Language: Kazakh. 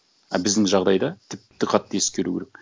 а біздің жағдайда тіпті қатты ескеру керек